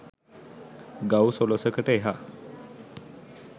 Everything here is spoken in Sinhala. ගව් සොළසකට එහා